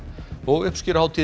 uppskeruhátíðin